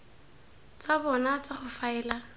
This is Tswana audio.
tsa bona tsa go faela